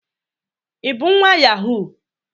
i bu nwa yahoo?